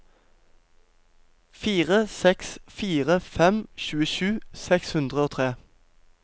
fire seks fire fem tjuesju seks hundre og tre